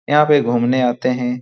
यहाँ पे घूमने आते हे ।